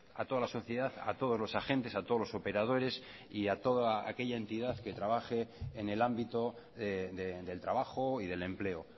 a toda la sociedad a todos los agentes a todos los operadores y a toda aquella entidad que trabaje en el ámbito del trabajo y del empleo